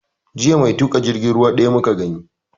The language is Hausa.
Jiya mai tuƙa jirgin ruwa ɗaya muka gani